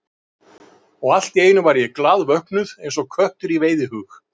Og allt í einu var ég glaðvöknuð, eins og köttur í veiðihug.